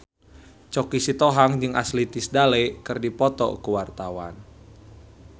Choky Sitohang jeung Ashley Tisdale keur dipoto ku wartawan